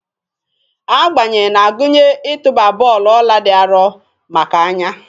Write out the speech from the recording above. Agbanye na-agụnye ịtụba bọọlụ ọla dị arọ maka anya.